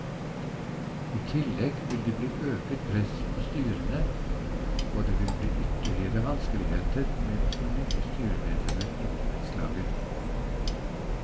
I tillegg vil det bli øket press på styrene, og det vil bli ytterligere vanskeligheter med å få nye styremedlemmer i borettslaget.